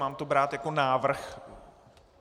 Mám to brát jako návrh?